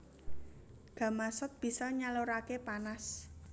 Gamasot bisa nyaluraké panas